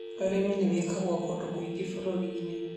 Ũrĩmi nĩ wĩkagwo kũndũ kũingĩ bũrũri-inĩ